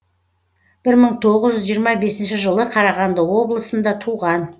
бір мың тоғыз жүз жиырма бесінші жылы қарағанды облысында туған